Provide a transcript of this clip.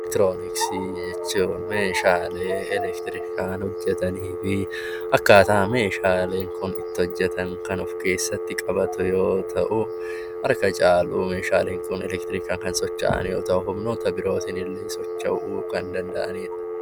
Eleektirooniksii jechuun Meeshaalee eleektirikii hojjetanii fi akkaataa Meeshaaleen Kun itti hojjetan kan of keessatti qabate yoo ta'u, harka caalu Meeshaaleen Kun eleektirikaan kan socho'an yoo ta'u, humnoota birootiin illee socho'uu kan danda'anidha.